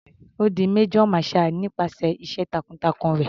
Ó di major marshall nípasẹ̀ iṣẹ́ takun-takun rẹ̀.